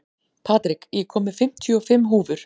Patrik, ég kom með fimmtíu og fimm húfur!